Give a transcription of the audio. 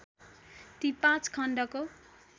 ती पाँच खण्डको